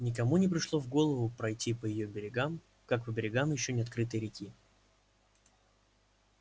никому не пришло в голову пройти по её берегам как по берегам ещё не открытой реки